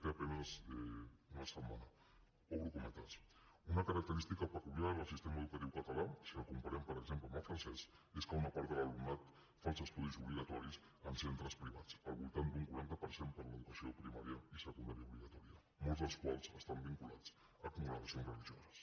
té a penes una setmana obro cometes una característica peculiar del sistema educatiu català si el comparem per exemple amb el francès és que una part de l’alumnat fa els estudis obligatoris en centres privats al voltant del quaranta per a l’educació primària i secundària obligatòria molts dels quals estan vinculats a congregacions religioses